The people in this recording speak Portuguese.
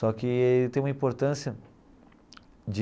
Só que tem uma importância de